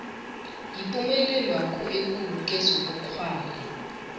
yipumelelwakho ekulu kezobukghwari